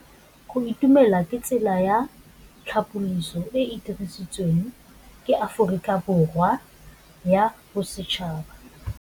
Go itumela ke tsela ya tlhapolisô e e dirisitsweng ke Aforika Borwa ya Bosetšhaba.